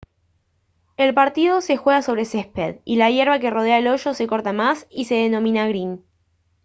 el partido se juega sobre césped y la hierba que rodea el hoyo se corta más y se denomina green